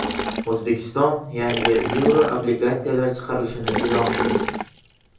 O‘zbekiston yangi yevroobligatsiyalar chiqarilishini e’lon qildi.